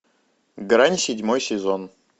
грань седьмой сезон